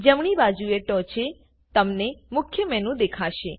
જમણી બાજુએ ટોંચે તમને મુખ્ય મેનુ દેખાશે